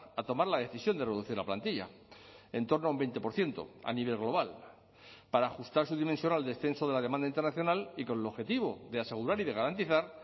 a tomar la decisión de reducir la plantilla en torno a un veinte por ciento a nivel global para ajustar su dimensión al descenso de la demanda internacional y con el objetivo de asegurar y de garantizar